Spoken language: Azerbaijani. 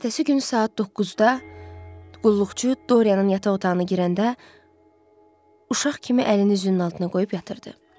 Ertəsi gün saat doqquzda qulluqçu Dorienin yataq otağına girəndə uşaq kimi əlini üzünün altına qoyub yatırdı.